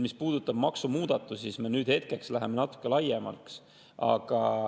Mis puudutab maksumuudatusi, siis nüüd läheb natuke laiemaks.